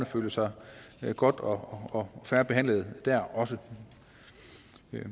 føle sig godt og fair behandlet der også